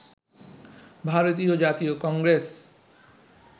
ভারতীয় জাতীয় কংগ্রেস